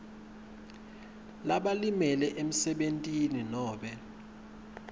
labalimele emsebentini nobe